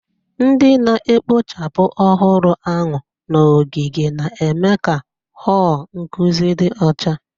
Ndị na-ekpochapụ ọhụrụ ahụ nọgidere na-eme ka họl nkụzi dị ọcha.